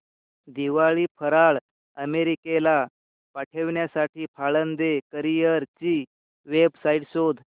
दिवाळी फराळ अमेरिकेला पाठविण्यासाठी पाळंदे कुरिअर ची वेबसाइट शोध